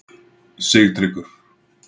Sigtryggur